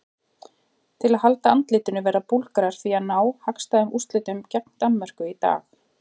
Til að halda andlitinu verða Búlgarar því að ná hagstæðum úrslitum gegn Danmörku í dag.